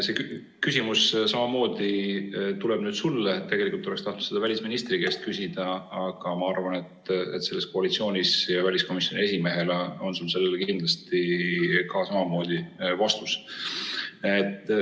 See küsimus tuleb samamoodi nüüd sulle, tegelikult oleks tahtnud seda välisministri käest küsida, aga ma arvan, et kuna sa oled koalitsioonis ja väliskomisjoni esimees, siis on sul sellele kindlasti samamoodi vastus olemas.